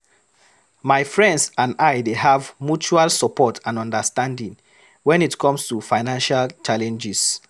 My friends and I dey have mutual support and understanding when it comes to financial challenges.